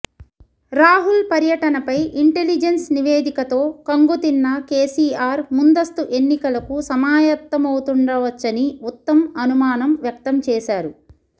రాహుల్ పర్యటనపై ఇంటెలిజెన్స్ నివేదికతో కంగు తిన్న కేసీఆర్ ముందస్తు ఎన్నికలకు సమాయత్తమవుతుండవచ్చని ఉత్తమ్ అనుమానం వ్యక్తం చేశారు